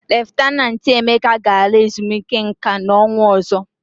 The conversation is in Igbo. Leftanantị Emeka ga-ala ezumike nka n'ọnwa ọzọ.